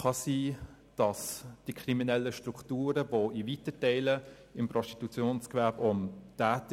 Kriminelle Strukturen sind in weiten Teilen des Prostitutionsgewerbes vorhanden.